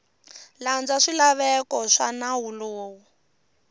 landza swilaveko swa nawu lowu